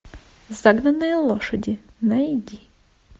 загнанные лошади найди